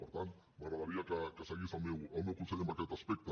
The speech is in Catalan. per tant m’agradaria que seguís el meu consell en aquest aspecte